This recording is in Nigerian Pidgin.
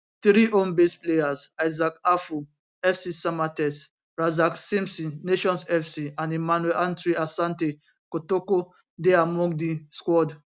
three homebased players isaac afful fc samatex razak simpson nations fc and emmanuel antwi asante kotoko dey among di squad